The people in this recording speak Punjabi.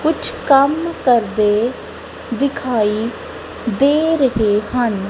ਕੁੱਛ ਕੰਮ ਕਰਦੇ ਦਿਖਾਈ ਦੇ ਰਹੇ ਹਨ।